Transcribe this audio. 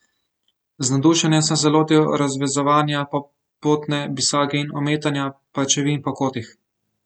Z navdušenjem sem se lotil razvezovanja popotne bisage in ometanja pajčevin po kotih.